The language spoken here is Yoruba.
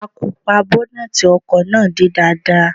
A kò pa bọ́nẹ́tì ọkọ̀ náà dé dáadáa.